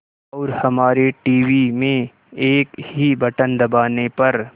और हमारे टीवी में एक ही बटन दबाने पर